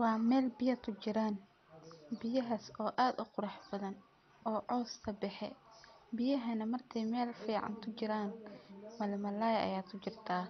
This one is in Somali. Wa mel biyo kujieran biyahas oo ad u qurux bathan oo caws kabexe, biyahana marki ay mel fican kujiran malmalay ayaa kujirtah,